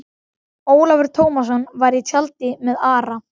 Ólafur Tómasson var í tjaldi með Ara.